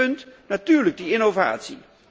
Het tweede punt is natuurlijk de innovatie.